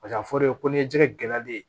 Paseke a fɔlen ko n ye jɛgɛ gɛlɛyalen ye